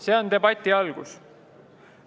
See on debati algus.